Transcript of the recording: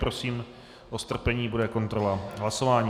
Prosím o strpení, bude kontrola hlasování...